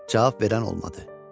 Cavab verən olmadı.